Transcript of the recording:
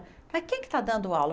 Falei, quem é que está dando aula?